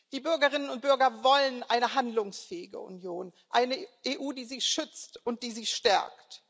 Die Bürgerinnen und Bürger wollen eine handlungsfähige Union, eine EU, die sie schützt und die sie stärkt.